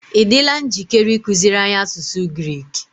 ị dịla njikere ịkụziri anyị asụsụ Grik?